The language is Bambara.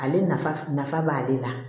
Ale nafa nafa b'ale la